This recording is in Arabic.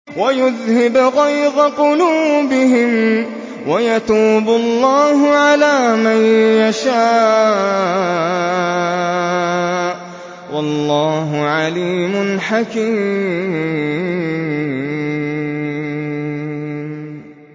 وَيُذْهِبْ غَيْظَ قُلُوبِهِمْ ۗ وَيَتُوبُ اللَّهُ عَلَىٰ مَن يَشَاءُ ۗ وَاللَّهُ عَلِيمٌ حَكِيمٌ